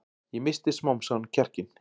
Ég missti smám saman kjarkinn.